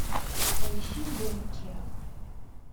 поищи борджиа